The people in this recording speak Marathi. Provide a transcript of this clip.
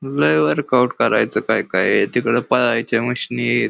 लई वर्कआउट करायच काय कायय तिकडे पळायच्या मशीनीयत .